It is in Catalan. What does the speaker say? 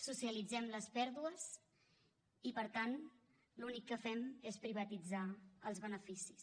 socialitzem les pèrdues i per tant l’únic que fem és privatitzar els beneficis